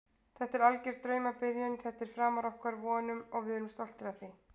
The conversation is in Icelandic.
Þetta er alger draumabyrjun, þetta er framar okkar vonum og við erum stoltir af því.